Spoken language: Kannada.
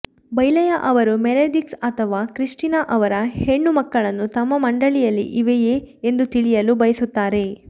ಬೈಲೆಯ್ ಅವರು ಮೆರೆಡಿಥ್ಸ್ ಅಥವಾ ಕ್ರಿಸ್ಟಿನಾ ಅವರ ಹೆಣ್ಣು ಮಕ್ಕಳನ್ನು ತಮ್ಮ ಮಂಡಳಿಯಲ್ಲಿ ಇವೆಯೇ ಎಂದು ತಿಳಿಯಲು ಬಯಸುತ್ತಾರೆ